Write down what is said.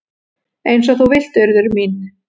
"""Eins og þú vilt, Urður mín."""